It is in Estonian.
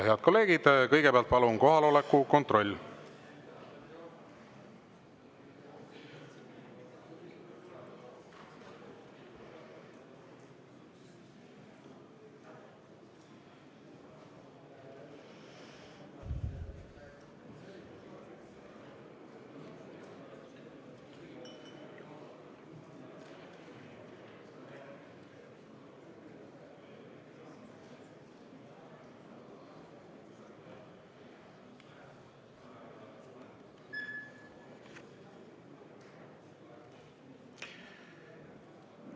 Head kolleegid, kõigepealt palun teeme kohaloleku kontrolli!